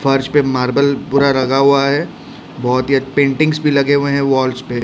फर्श पे मार्बल पूरा रगा हुआ है बहोत ही पेंटिंग्स भी लगे हुएं हैं वाल्स पे।